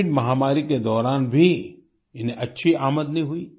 Covid महामारी के दौरान भी इन्हें अच्छी आमदनी हुई